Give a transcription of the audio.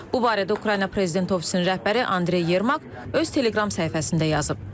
Bu barədə Ukrayna prezidenti ofisinin rəhbəri Andrey Yermak öz Telegram səhifəsində yazıb.